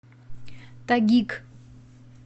тагиг